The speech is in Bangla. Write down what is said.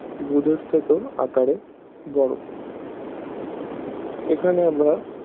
বুধের থেকেও আকারে বড়ো এখানে আমরা